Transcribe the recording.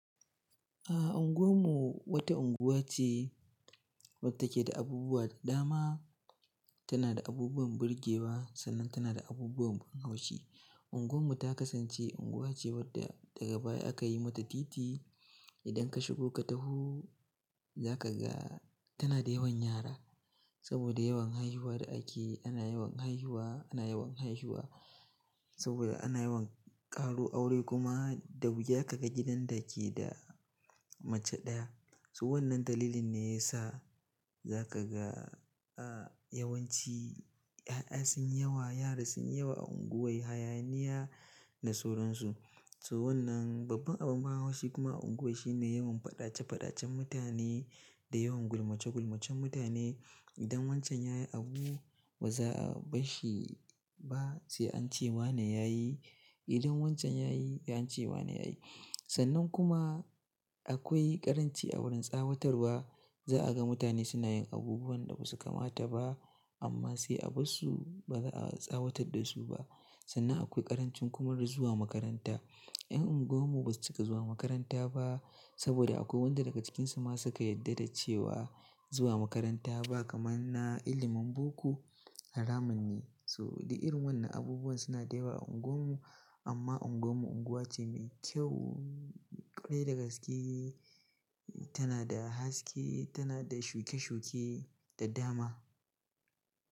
A unguwar mu wata unguwa ce wadda take da abubuwa da dama. Tana da abubuwan burge wa, sannan tana da abubuwan ban haushi. Unguwar mu ta kasance unguwa ce wadda daga baya aka yi mata titi. Idan ka shigo ka taho za ka ga tana da yawan yara saboda yawan haihuwa da ake. Ana yawan haihuwa, ana yawan haihuwa saboda ana yawan ƙaro aure kuma da wuya ka ga gidan da ke da mace ɗaya. So wannan dalilin ne ya sa za ka ga, a, yawanci 'ya'ya sun yi yawa, yara sun yi yawa a unguwar, hayaniya da sauran su. So wannan babban abu ma shi kuma a unguwan shine yawan fadace fadacen mutane da yawan gulmace gulmacen mutane idan wancan yayi abu ba za a ɓarshi ba sai an ce wa ne yayi. Idan wancan yayi, sai an ce wa ne yayi. Sannan kuma akwai ƙaranci a wurin tsawatarwa. Za a ga mutane suna yin abubuwan da ba su kamata ba amma sai a barsu, ba za a tsawatar da su ba. Sannan akwai ƙarancin kuma da zuwa makaranta. 'Yan unguwar mu ba su cika zuwa makaranta ba saboda akwai wanda daga cikinsu ma suka yarda da cewa zuwa makaranta ba kamanna, ilimin boko haramun ne. So, dik urin wannan abubuwan suna da yawa a unguwar mu amma unguwar mu unguwa ce mai kyau, ƙwarai da gaske tana da haske, tana da shuke shuke da dama.